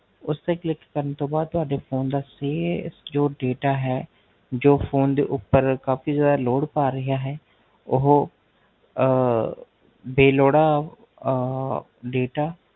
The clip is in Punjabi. ਉਸ ਤੇ Click ਕਰਨ ਤੋਂ ਬਾਧ ਤੁਹਾਡੇ ਜੋ Dataphone ਦੇ ਉਪਰ ਕਾਫ਼ੀ ਸਾਰਾ Load ਪਾਹ ਰਯਾ ਹੈ ਉਹ ਬੇਲੋੜਾ ਅਹ Data